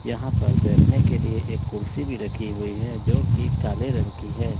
यहां पर बैठने के लिए एक कुर्सी भी रखी हुई है जोकि काले रंग की है।